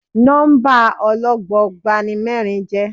Nọ́mbà ọlọ́gbọọgba ni mẹ́rin jẹ́.